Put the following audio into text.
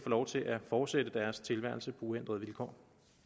lov til at fortsætte deres tilværelse på uændrede vilkår